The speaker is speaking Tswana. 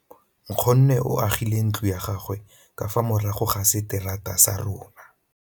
Nkgonne o agile ntlo ya gagwe ka fa morago ga seterata sa rona.